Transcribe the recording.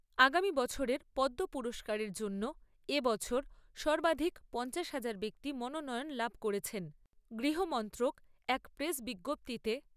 আগামী বছরের পদ্ম পুরস্কারের জন্য এ বছর সর্বাধিক পঞ্চাশ হাজার ব্যক্তি মনোনয়ন লাভ করেছেন। গৃহ মন্ত্রক এক প্রেস বিজ্ঞপ্তীতে